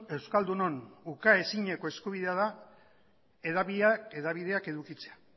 euskaldunon ukaezineko eskubidea da hedabideak edukitzea